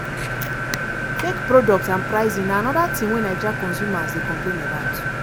fake products and pricing na anoda tin wey nigeria consumers dey complain about.